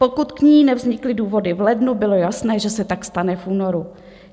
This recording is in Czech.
Pokud k ní nevznikly důvody v lednu, bylo jasné, že se tak stane v únoru.